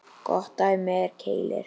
Gott dæmi er Keilir.